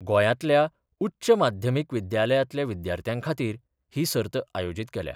गोयातल्या उच्च माध्यमिक विद्यालयातल्या विद्यार्थ्यांखातीर ही सर्त आयोजित केल्या.